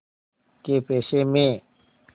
कै पैसे में